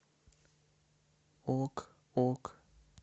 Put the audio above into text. ок ок